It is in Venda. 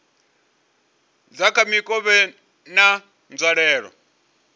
dza kha mikovhe na nzwalelo